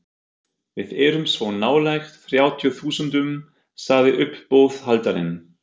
Við erum svo nálægt þrjátíu þúsundunum, sagði uppboðshaldarinn.